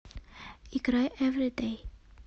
играй эвридэй